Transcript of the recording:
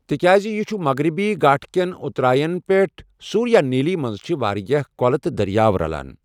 تِکیاز یہِ چھُ مغربی گھاٹھ كین اٗتراین پیٹھ ، سوُریانیلی مَنٛز چھِ واریاہ کۄلہٕ تہٕ دریاو رلان ۔